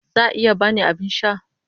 Za a iya ba ni abin sha?